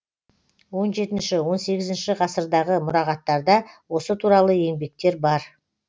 он жетінші он сегізінші ғасырдағы мұрағаттарда осы туралы еңбектер бар